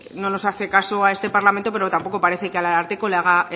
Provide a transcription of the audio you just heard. bueno pues no nos hace caso a este parlamento pero tampoco parece que al ararteko le haga